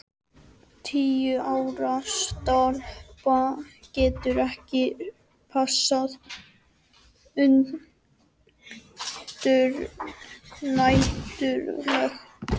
Tíu ára stelpa getur ekki passað ungbarn næturlangt.